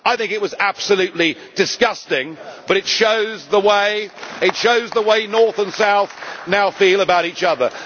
I think it was absolutely disgusting, but it shows the way north and south now feel about each other.